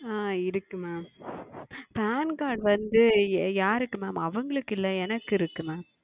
ஆஹ் இருக்கு MamPan Card வந்து யாருக்கு Mam அவர்களுக்கு இல்லை எனக்கு இருக்கு Mam